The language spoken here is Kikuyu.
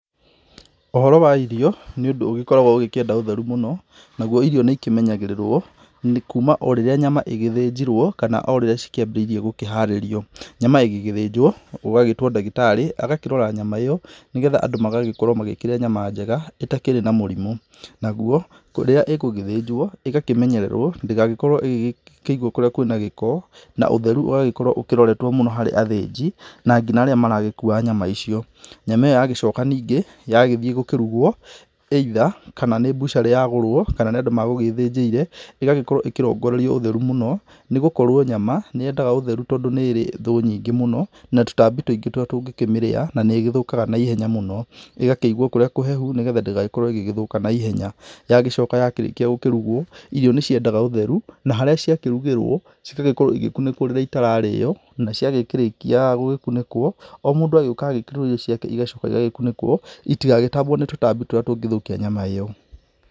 Ũhoro wa irio nĩ ũndũ ũgĩkoragwo ũkĩenda ũtheru mũno, naguo irio nĩikĩmenyagĩrĩrwo o kuma rĩrĩa nyama ĩgĩthĩnjirwo kana ũrĩrĩa cikĩambĩrĩirie gũkĩharĩrio. Nyama ĩgĩthĩnjwo gũgagĩtwo ndagĩtarĩ agakĩrora nyama ĩyo, nĩgetha andũ magakorwo makĩrĩa nyama njega ĩtakĩrĩ na mũrimũ. Naguo kũrĩa ĩgũgĩthĩnjwo ĩgakĩmenyererwo ndĩgagĩkorwo ĩkĩigwo kũrĩa kwĩna gĩko, na ũtheru ũgagĩkorwo ũroretwo mũno harĩ athĩnji na nginya arĩa maragĩkua nyama icio. Nyama ĩyo yagĩcoka ningĩ yagũthiĩ kũrugwo either akorwo ni mbucarĩ yagũrwo kana nĩ andũ magwĩthĩnjĩire, ĩgagĩkorwo ĩkĩrongorerio ũtheru muno nĩgũkorwo nyama nĩyendaga ũtheru, tondũ nĩrĩ thũ nyingĩ mũno na tũtambi tũingĩ tũrĩa tũngĩkĩmĩrĩya na nĩĩgĩthũkaga na ihenya mũno, na ĩgakĩigwo kũrĩa kũhehu, nĩgetha ndĩgagĩkorwo ĩgĩthũka na ihenya. Yagĩcoka yakĩrĩkia kũrugwo, irio nĩciendaga ũtheru na harĩa ciakĩrugĩrwo cigakorwo cigĩkunĩkwo rĩrĩa itararĩyo na ciagĩkĩrĩkia gũkunĩkwo o mũndũ agoka agĩkĩragĩrwo irio ciake na cigakunĩkwo itigagĩtambwo nĩ tũtambi tũrĩa tũngĩthũkia nyama ĩyo.